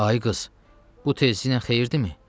Ay qız, bu tezləyinən xeyirdirmi?